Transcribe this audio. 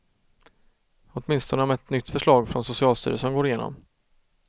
Åtminstone om ett nytt förslag från socialstyrelsen går igenom.